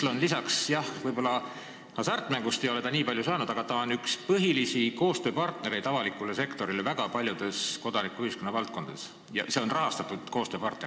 EMSL ei ole võib-olla hasartmängumaksust nii palju raha saanud, aga ta on üks põhilisi avaliku sektori koostööpartnereid väga paljudes kodanikuühiskonna valdkondades, ta on rahastatud koostööpartner.